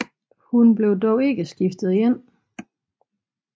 Hun blev dog ikke skiftet ind